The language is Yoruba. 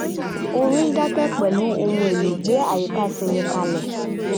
orin dákẹ́ pẹ̀lú ohun èlò gbé àyíká ṣinmi kalẹ̀